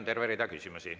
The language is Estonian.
Teile on terve rida küsimusi.